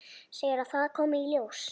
Segir að það komi í ljós.